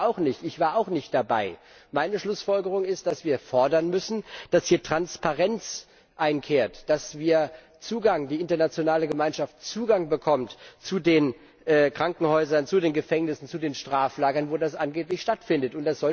Ich weiß es ja auch nicht, ich war auch nicht dabei. Meine Schlussfolgerung daraus ist, dass wir fordern müssen, dass hier Transparenz einkehrt, dass wir die internationale Gemeinschaft Zugang zu den Krankenhäusern, zu den Gefängnissen, zu den Straflagern bekommen, wo das angeblich stattfindet.